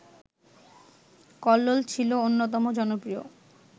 কল্লোল ছিল অন্যতম জনপ্রিয়